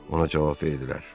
Ona cavab verdilər.